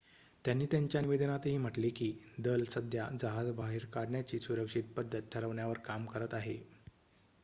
"त्यांनी त्यांच्या निवेदनातही म्हटले की "दल सध्या जहाज बाहेर काढण्याची सुरक्षित पद्धत ठरवण्यावर काम करत आहे"".